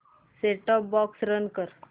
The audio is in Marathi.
सेट टॉप बॉक्स रन कर